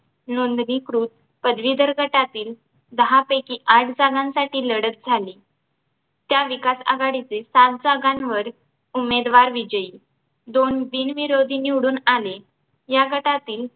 नोंदणीकृत पदवीधर गटातील दहापैकी आठ जागांसाठी लढत झाली त्या विकास आघाडीचे सात जागांवर उमेदवार विजयी दोन बिनविरोधी निवडून आले या गटातील